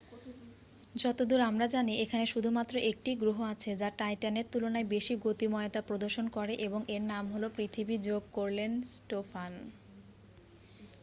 "যতদূর আমরা জানি এখানে শুধুমাত্র একটিই গ্রহ আছে যা টাইট্যানের তুলনায় বেশি গতিময়তা প্রদর্শন করে এবং এর নাম হল পৃথিবী,""যোগ করলেন স্টোফান।